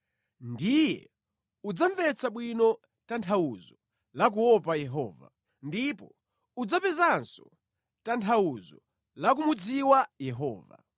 ndiye udzamvetsa bwino tanthauzo la kuopa Yehova; ndipo udzapezanso tanthauzo la kumudziwa Yehova.